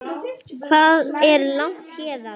Hvað er langt héðan?